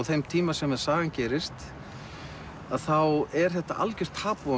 þeim tíma sem sagan gerist að þá er þetta algjört tabú